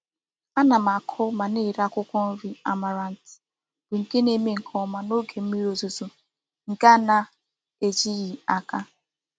Ana m aku ma na-ere akwukwo nri amaranth, bu nke na-eme nke oma n'oge mmiri ozuzo nke a na-ejighi n'aka.